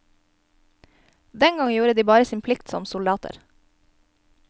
Dengang gjorde de bare sin plikt som soldater.